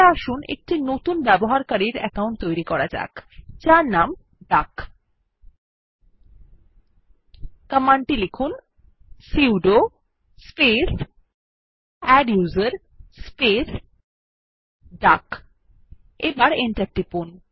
তাহলে আসুন একটি নতুন ব্যবহারকারীর অ্যাকাউন্ট তৈরী করা যাক যার নাম ডাক কমান্ড টি লিখুন 160 sudo space adduser space duck এবার এন্টার টিপুন